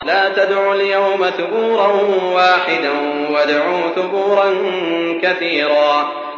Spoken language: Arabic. لَّا تَدْعُوا الْيَوْمَ ثُبُورًا وَاحِدًا وَادْعُوا ثُبُورًا كَثِيرًا